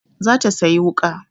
Za ta sayi wuƙa.